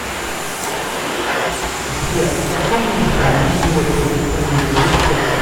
сбер в каком издании его перу принадлежит текст